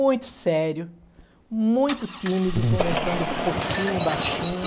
Muito sério, muito tímido, conversando pouquinho, baixinho.